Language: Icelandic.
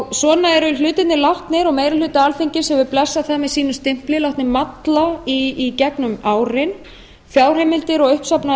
svona eru hlutirnir látnir og meiri hluti alþingis hefur blessað það með sínum stimpli látnir malla í gegnum árin fjárheimildir og uppsafnaður